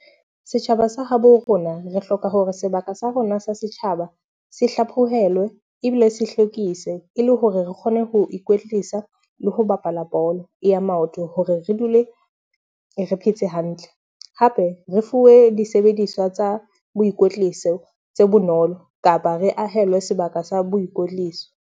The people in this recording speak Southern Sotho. Setjhaba sa habo rona, re hloka hore sebaka sa rona sa setjhaba se hlaphohelwe ebile se hlwekise e le hore re kgone ho ikwetlisa le ho bapala bolo ya maoto hore re dule re phetse hantle. Hape re fuwe disebediswa tsa boikotliso tse bonolo kapa re ahelwe sebaka sa boikotliso.